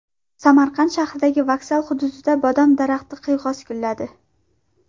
Samarqand shahridagi vokzal hududida bodom daraxti qiyg‘os gulladi.